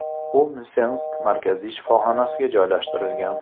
U Msensk markaziy shifoxonasiga joylashtirilgan.